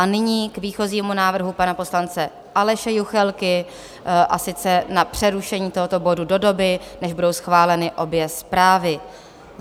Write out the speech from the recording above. A nyní k výchozímu návrhu pana poslance Aleše Juchelky, a sice na přerušení tohoto bodu do doby, než budou schváleny obě zprávy.